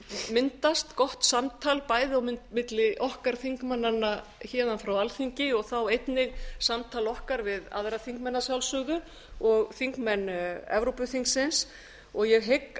myndast gott samtal bæði á milli okkar þingmanna héðan frá alþingi og þá einnig samtal okkar við aðra þingmenn að sjálfsögðu og þingmenn evrópuþingsins og ég hygg